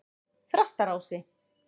Þrastarási